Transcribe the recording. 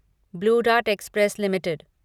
blue dart express limited